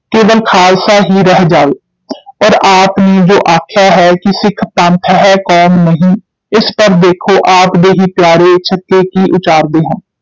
ਕੇਵਲ ਖਾਲਸਾ ਹੀ ਰਹਿ ਜਾਏ ਔਰ ਆਪ ਨੇ ਜੋ ਆਖਿਆ ਹੈ ਕਿ ਸਿਖ ਪੰਥ ਹੈ, ਕੌਮ ਨਹੀਂ, ਇਸ ਪਰ ਦੇਖੋ ਆਪ ਦੇ ਹੀ ਪਿਆਰੇ ਛੱਕੇ ਕੀ ਉਚਾਰਦੇ ਹਨ।